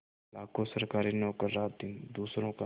लाखों सरकारी नौकर रातदिन दूसरों का